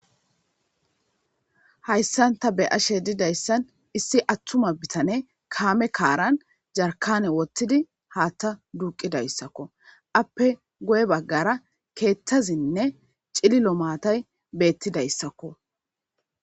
Hayssan ta be'ashshe diizayssan issi attuma bittaney kaame kaaran jarkkanne woththidi haththa duuqqidayssako aape guye baggara keththazine cillilo maatay bettidayssako.